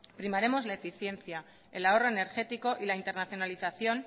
primaremos la eficiencia el ahorro energético y la internacionalización